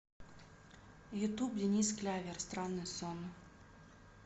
ютуб денис клявер странный сон